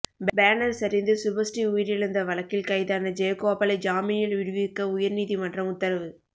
banner சரிந்து சுபஸ்ரீ உயிரிழந்த வழக்கில் கைதான ஜெயகோபாலை ஜாமினில் விடுவிக்க உயர்நீதிமன்றம் உத்தரவு